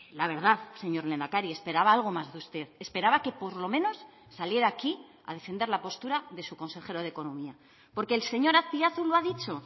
la verdad señor lehendakari esperaba algo más de usted esperaba que por lo menos saliera aquí a defender la postura de su consejero de economía porque el señor azpiazu lo ha dicho